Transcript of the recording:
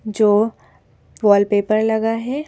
जो वॉलपेपर लगा है।